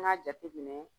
An y'a jateminɛ